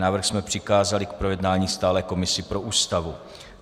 Návrh jsme přikázali k projednání stálé komisi pro Ústavu.